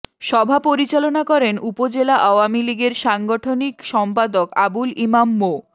সভা পরিচালনা করেন উপজেলা আওয়ামী লীগের সাংগঠনিক সম্পাদক আবুল ইমাম মো